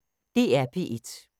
DR P1